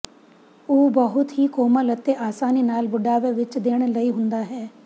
ਉਹ ਬਹੁਤ ਹੀ ਕੋਮਲ ਅਤੇ ਆਸਾਨੀ ਨਾਲ ਬੁਢਾਪੇ ਵਿਚ ਦੇਣ ਲਈ ਹੁੰਦਾ ਹੈ